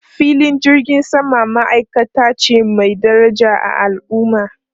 Filin jirgin sama ma'aikata ce mai daraja a al'umma.